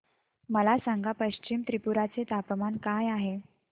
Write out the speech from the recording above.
मला सांगा पश्चिम त्रिपुरा चे तापमान काय आहे